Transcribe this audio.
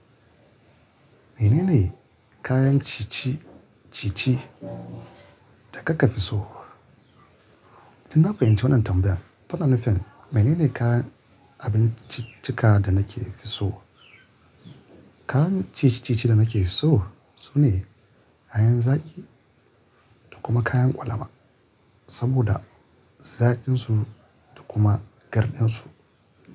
Menene kayan ci-ci-ci-ci da kaka fi so? Tin na fahimci wannan tambayar, faɗa nufin menene kayan abinciccika da nake so. Kayan ci-ci-ci-ci da nake so sune kayan zaƙi da kuma kayan ƙwalama saboda zaƙinsu da kuma garɗinsu.